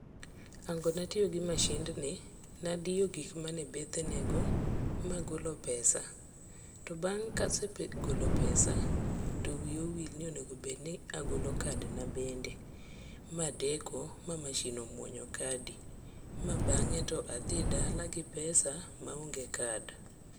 Hango natiyo gi mashindni, nadiyo gikmane bathenego magolo pesa. To bang' kasegolo pesa to wiya owil ni onego bedni agolo kadna bende, madeko ma mashin omuonyo kadi ma bang'e to adhi dala gi pesa maonge kad.